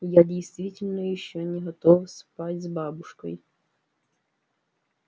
я действительно ещё не готов спать с бабушкой